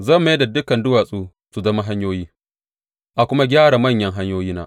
Zan mayar da dukan duwatsu su zama hanyoyi, a kuma gyara manyan hanyoyina.